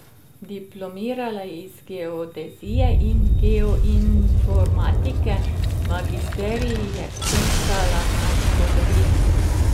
Diplomirala je iz geodezije in geoinformatike, magisterij je vpisala na zgodovini.